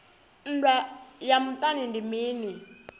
nndwa ya muṱani ndi mini